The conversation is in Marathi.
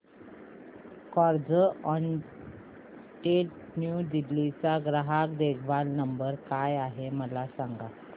कार्झऑनरेंट न्यू दिल्ली चा ग्राहक देखभाल नंबर काय आहे मला सांग